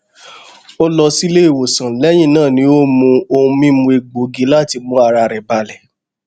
ó lọ sílé ìwòsàn lẹyìn náà ni ó mu ohun mímu egbògi láti mú ara rẹ balẹ